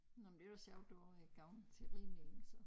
Nåh men var sjovt du har gået til ridning så